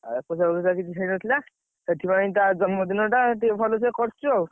ଏକୋଇଶିଆ ଫେକୋଇଶିଆ କିଛି ହେଇନଥିଲା। ସେଥିପାଇଁ ତା ଜନ୍ମଦିନଟା ଟିକେ ଭଲସେ କରଚୁ ଆଉ।